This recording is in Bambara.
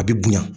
A bɛ bonya